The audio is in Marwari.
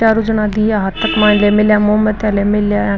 चारो जना दिया हाथा के माइन ले मिलिया मोमबत्ती ले मेला है।